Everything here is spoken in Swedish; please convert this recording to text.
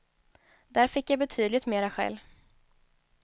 Där fick jag betydligt mera skäll.